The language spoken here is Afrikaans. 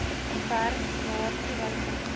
werk laer toewysings